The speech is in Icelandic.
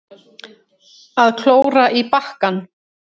Að klóra í bakkann